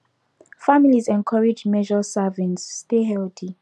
families encouraged measure servings stay healthy